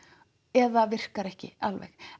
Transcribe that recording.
eða virkar ekki alveg